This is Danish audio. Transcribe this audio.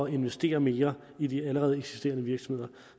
investere mere i de allerede eksisterende virksomheder